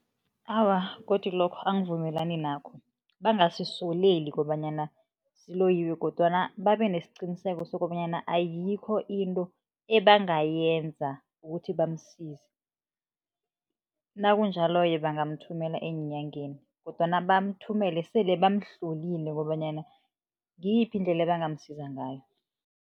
Awa, godu lokho angivumelani nakho bangasoleli kobanyana siloyiwe kodwana babe nesiqiniseko sokobanyana ayikho into ebangayenza ukuthi bamsize, nakunjalo-ke bangamuthumela eenyangeni kodwana bamthumela sele bamuhlolile kobanyana ngiyiphi indlela ebangamsiza ngayo.